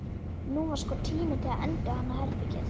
Nú var sko tími til að endurhanna herbergið.